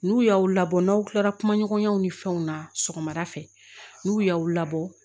N'u y'aw labɔ n'aw kilara kumaɲɔgɔnyaw ni fɛnw na sɔgɔmada fɛ n'u y'aw labɔ